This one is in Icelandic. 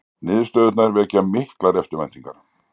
Niðurstöðurnar vekja miklar eftirvæntingar.